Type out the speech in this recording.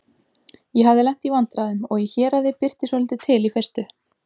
Ég hafði lent í vandræðum og í héraði birti svolítið til í fyrstu.